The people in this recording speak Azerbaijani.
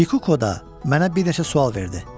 Kikuko da mənə bir neçə sual verdi.